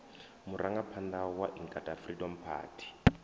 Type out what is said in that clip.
murangaphanḓa wa inkatha freedom party